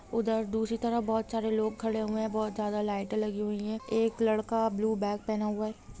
उधर दूसरी तरह बहुत सारे लोग खड़े हुए हैं बहुत ज्यादा लाइट लगी हुई है एक लड़का ब्लू बैग पहना हुआ है।